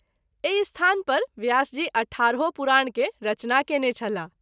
एहि स्थान पर व्यास जी अठारहो पुराण के रचना कएने छलाह।